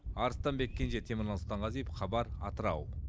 арыстанбек кенже темірлан сұлтанғазиев хабар атырау